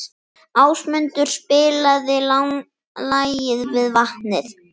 Ásmundur, spilaðu lagið „Við vatnið“.